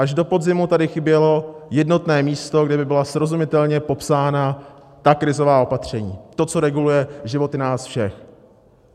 Až do podzimu tady chybělo jednotné místo, kde by byla srozumitelně popsána ta krizová opatření, to, co reguluje životy nás všech.